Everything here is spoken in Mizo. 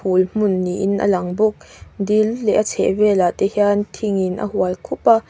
phul hmun niin a lang bawk dil leh a chheh velah te hian thingin a hual khup a.